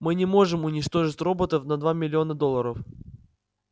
мы не можем уничтожить роботов на два миллиона долларов